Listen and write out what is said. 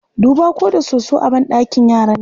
Duba ko da soso a banɗakin yaran nan.